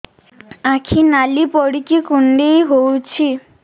ଆଖି ନାଲି ପଡିକି କୁଣ୍ଡେଇ ହଉଛି